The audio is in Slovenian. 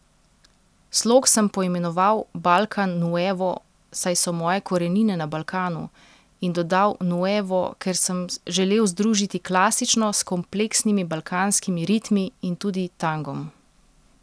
Slog sem poimenoval balkan nuevo, saj so moje korenine na Balkanu, in dodal nuevo, ker sem želel združiti klasično s kompleksnimi balkanskimi ritmi in tudi tangom.